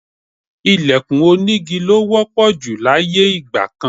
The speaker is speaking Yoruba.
Ìlẹ̀kùn onígi ló wọ́pọ̀ jù láyé ìgbà kan